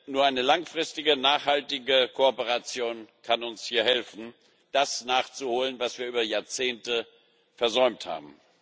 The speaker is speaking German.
Nur eine langfristige nachhaltige Kooperation kann uns hier helfen, das nachzuholen, was wir über Jahrzehnte versäumt haben.